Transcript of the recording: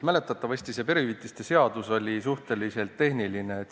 Mäletatavasti on perehüvitiste seaduse muutmise seaduse eelnõu suhteliselt tehniline.